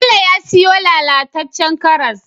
Bello ya siyo lala tacen karas